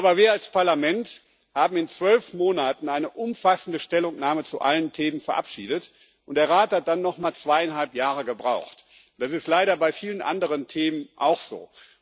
Aber wir als Parlament haben in zwölf Monaten eine umfassende Stellungnahme zu allen Themen verabschiedet, und der Rat hat dann noch mal zweieinhalb Jahre gebraucht das ist leider bei vielen anderen Themen auch so.